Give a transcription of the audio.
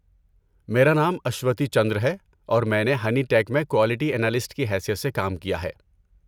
میرا نام اشوتی چندر ہے اور میں نے ہنی ٹیک میں کوالٹی انالسٹ کی حیثیت سے کام کیا ہے۔